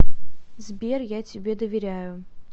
сбер я тебе доверяю